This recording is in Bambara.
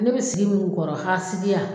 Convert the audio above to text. Ne be sigi min kɔrɔ hasidiya